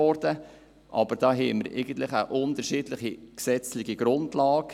Hier haben wir aber eigentlich eine unterschiedliche gesetzliche Grundlage.